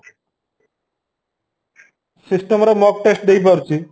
system ରେ mock test ଦେଇ ପାରୁଛି